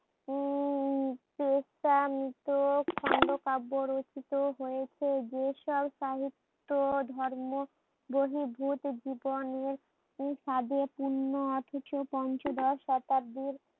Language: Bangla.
উম ক্রান্ত কাব্য রচিত হয়েছে যেসব সাহিত্য ধর্ম বহির্ভুত জীবনের সাধে পূর্ণ অথচ পঞ্চদশ শতাব্দীর